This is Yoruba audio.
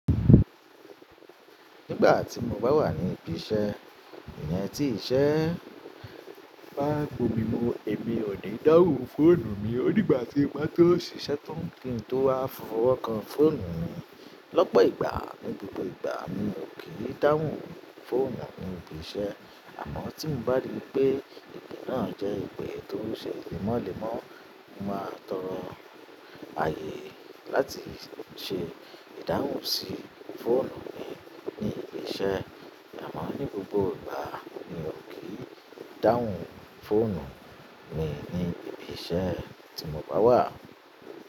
Nígbà tí mo bá wà ní ibi iṣẹ́, èèyàn tí ìṣe bá bu mi mú, èmi ò ní dáhùn fóònù mi. Ó dígbà tí igbá tó ṣiṣẹ́ tún kí n tó wá fọwọ́ kan fóònù mi. Lọ́pọ̀ ìgbà, ní gbogbo ìgbà mi ò kí n dáhùn fóònù mi ní ibi iṣẹ́. Àmọ́ tí mo bá rí pé ìdí náà jẹ́ ìpè tó ṣe èlémọ́lẹ̀ mọ́, mo máa tọrọ ayé láti ṣẹ ìdáhùn sí fóònù mi ní ibi iṣẹ́. Àmọ́ ní gbogbo ìgbà mi ò kí n dáhùn fóònù mi ní ibi iṣẹ́ tí mo bá wà.